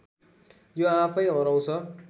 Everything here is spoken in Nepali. यो आफैँ हराउँछ